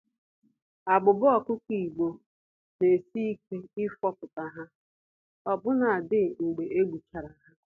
Abụba ọkụkọ Igbo, n'esi ike ifopụta ha, ọbụna dị mgbe egbuchara ha.